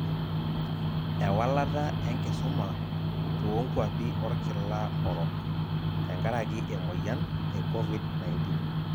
Ewalata enkisuma toonkwapi orkila orok tenkaraki emoyian e Covid 19.